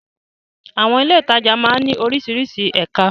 Àwọn ilé-ìtajà máa ń ní oríṣiríṣi ẹ̀ka.